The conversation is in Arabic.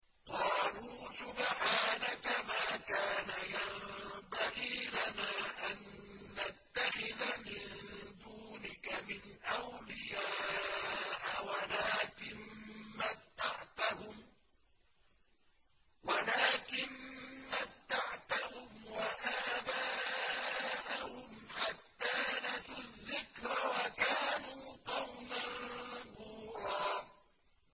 قَالُوا سُبْحَانَكَ مَا كَانَ يَنبَغِي لَنَا أَن نَّتَّخِذَ مِن دُونِكَ مِنْ أَوْلِيَاءَ وَلَٰكِن مَّتَّعْتَهُمْ وَآبَاءَهُمْ حَتَّىٰ نَسُوا الذِّكْرَ وَكَانُوا قَوْمًا بُورًا